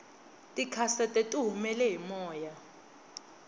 tikhasete tihumele hi moya